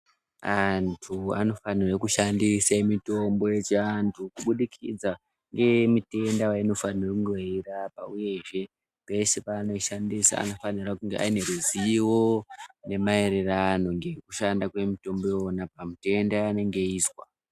Antu anofanirwe kushandise mitombo yechiantu kubudikidza ngemitenda vaunofanirwa kunge eirapa, uyezve pese paanoshandisa anofanira kunge ane ruzivo nemaererano ngekushanda kwemutombo ivona pamutenda vaanenge aezwa.